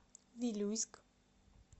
вилюйск